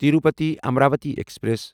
Tirupati Amravati express